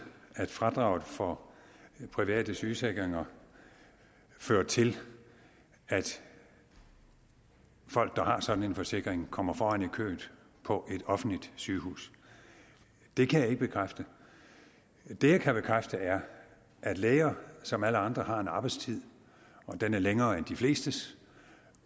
at fradraget for private sygeforsikringer fører til at folk der har sådan en forsikring kommer foran i køen på et offentligt sygehus det kan jeg ikke bekræfte det jeg kan bekræfte er at læger som alle andre har en arbejdstid og den er længere end de flestes